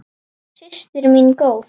Systir mín góð.